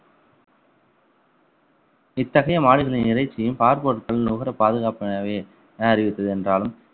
இத்தகைய மாடுகளின் இறைச்சியும் பாற்பொருட்களும் நுகர பாதுகாப்பாகவே என அறிவித்தது என்றாலும்